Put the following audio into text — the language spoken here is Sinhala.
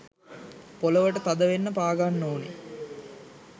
පොලවට තද වෙන්න පාගන්න ඕන.